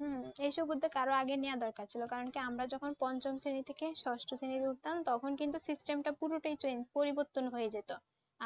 হুম। এই সব উদ্যোগ আর ও আগে নেওয়া দরকার ছিল কারণ কি আমরা যখন পঞ্চম শ্রেণি থেকে ষষ্ঠ শ্রেণীতে উঠতাম তখন কিন্তু system টা পুরটাই change পরিবর্তন হয়ে যেত।